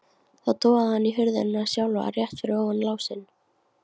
Þá togaði hann í hurðina sjálfa, rétt fyrir ofan lásinn.